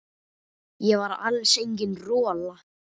Ég var alls engin rola.